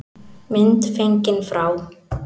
Mynd fengin frá